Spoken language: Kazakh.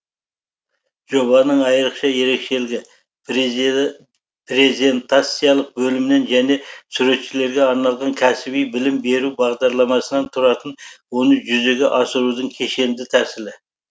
жобаның айрықша ерекшелігі презентациялық бөлімнен және суретшілерге арналған кәсіби білім беру бағдарламасынан тұратын оны жүзеге асырудың кешенді тәсілі